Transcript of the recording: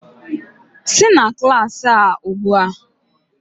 Sị na klaasị a ugbu a!